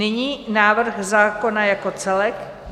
Nyní návrh zákona jako celek.